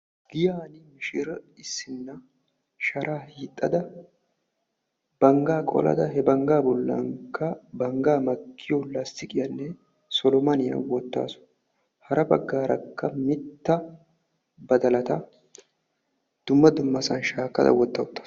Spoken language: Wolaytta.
giyani mishire issinna sharaa hiixada bangaa qolada he bangaa bolaanikka bangaa makkiyo solomane lastiqiya wotaasu. hara bagaarakka, mita badalatakka dumma dumma sohuwani shaakada wota utaasu,